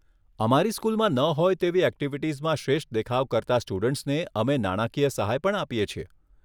અમારી સ્કૂલમાં ન હોય તેવી ઍક્ટિવિટીઝમાં શ્રેષ્ઠ દેખાવ કરતાં સ્ટુડન્ટ્સને અમે નાણાકીય સહાય પણ આપીએ છીએ.